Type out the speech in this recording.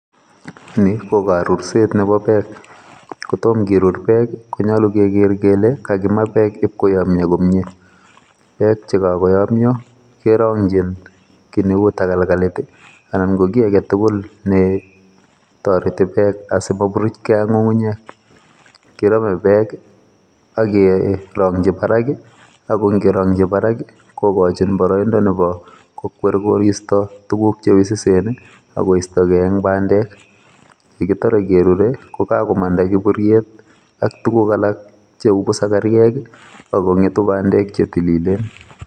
Ni ko karurset nebo bek. Kotom kirur bek konyolu iker kole kaimaa bek iib koyomyo komyie. Bek chekokomyo kerongyin kiit neu takalkalit ana ko kiagetugul netoreti bek asimoburuchgei ak ng'ung'unyek, kirome bek ak kerongyi barak ako ngerongyi barak kokochin boroindo nebo kokwer koristo tuguk cheususen akoisto gei en bandek, yekitore kerurei kokakomanda kiburiet ak tuguk alak cheu busakaryek akong'etu bandek chetililen.